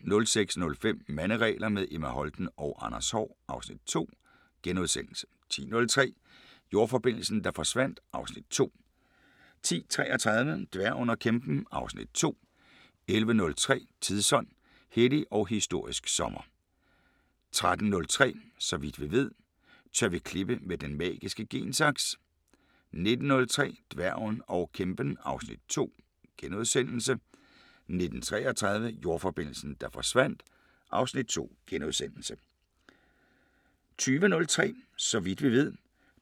06:05: Manderegler – med Emma Holten og Anders Haahr (Afs. 2)* 10:03: Jordforbindelsen, der forsvandt (Afs. 2) 10:33: Dværgen og kæmpen (Afs. 2) 11:03: Tidsånd: Hellig og historisk sommer 13:03: Så vidt vi ved: Tør vi klippe med den magiske gen-saks? 19:03: Dværgen og kæmpen (Afs. 2)* 19:33: Jordforbindelsen, der forsvandt (Afs. 2)* 20:03: Så vidt vi ved: